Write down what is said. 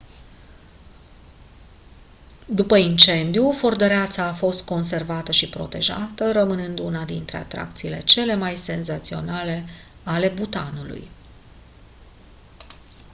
după incendiu fortăreața a fost conservată și protejată rămânând una dintre atracțiile cele mai senzaționale ale bhutanului